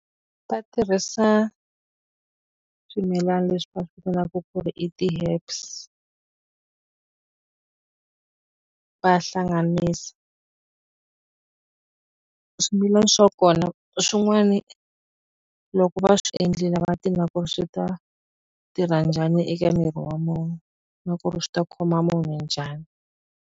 Va tirhisa swimilani leswi va swi vitanaka ku i ti-herbs va hlanganisa. Swimilana swa kona swin'wani loko va swi endlile va tiva na ku ri swi ta tirha njhani eka miri wa munh, u na ku ri swi ta khoma munhu njhani.